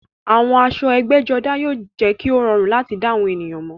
Àwọn aṣọ ẹgbẹ́jọdá jẹ́ kí ó rọrùn láti dá àwọn ènìyàn mọ̀